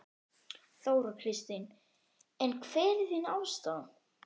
Þóra Kristín: En hver er þín afstaða?